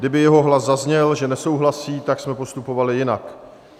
Kdyby jeho hlas zazněl, že nesouhlasí, tak jsme postupovali jinak.